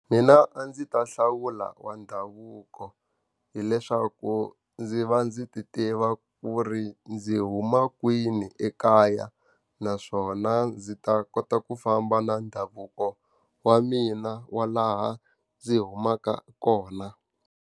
Mina a ndzi ta hlawula wa ndhavuko hileswaku ndzi va ndzi ti tiva ku ri ndzi huma kwini ekaya, naswona ndzi ta kota ku famba na ndhavuko wa mina wa laha ndzi humaka kona.